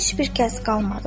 Heç bir kəs qalmadı.